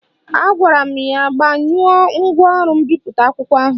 Agwara m ya gbanyụọ ngwaọrụ mbipụta akwụkwọ ahụ